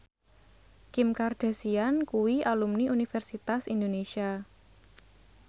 Kim Kardashian kuwi alumni Universitas Indonesia